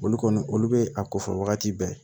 Olu kɔni olu bɛ a kofɔ wagati bɛɛ